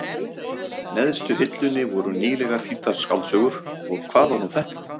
neðstu hillunni voru nýlegar þýddar skáldsögur, og hvað var nú þetta?